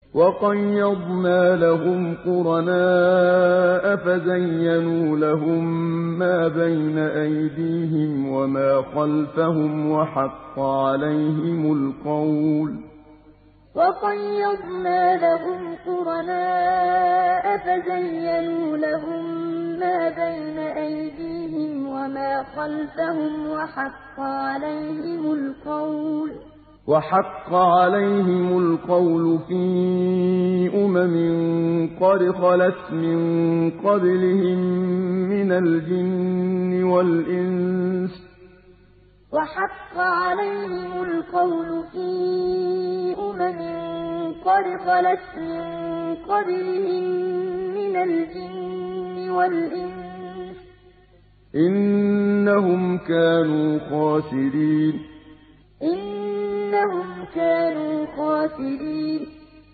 ۞ وَقَيَّضْنَا لَهُمْ قُرَنَاءَ فَزَيَّنُوا لَهُم مَّا بَيْنَ أَيْدِيهِمْ وَمَا خَلْفَهُمْ وَحَقَّ عَلَيْهِمُ الْقَوْلُ فِي أُمَمٍ قَدْ خَلَتْ مِن قَبْلِهِم مِّنَ الْجِنِّ وَالْإِنسِ ۖ إِنَّهُمْ كَانُوا خَاسِرِينَ ۞ وَقَيَّضْنَا لَهُمْ قُرَنَاءَ فَزَيَّنُوا لَهُم مَّا بَيْنَ أَيْدِيهِمْ وَمَا خَلْفَهُمْ وَحَقَّ عَلَيْهِمُ الْقَوْلُ فِي أُمَمٍ قَدْ خَلَتْ مِن قَبْلِهِم مِّنَ الْجِنِّ وَالْإِنسِ ۖ إِنَّهُمْ كَانُوا خَاسِرِينَ